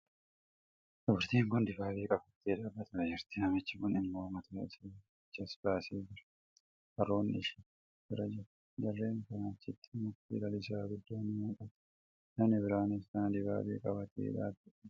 Dubartiin kun dibaabee qabattee dhaabbataa jirti. Namichi kun immoo mataa isaa achas baasee jira. Harroonnis ishii bira jiru. Jarreen kanaa achitti mukti lalisaa guddaan in mul'ata. Namni biraanis kan dibaabee qabatee dhaabatu jira.